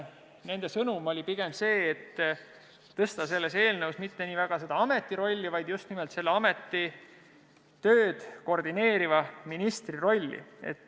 Nende sõnum oli pigem see, et suurendada selles eelnõus mitte nii väga selle ameti rolli, vaid just nimelt selle ameti tööd koordineeriva ministri rolli.